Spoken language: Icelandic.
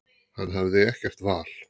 Hann hafði ekkert val.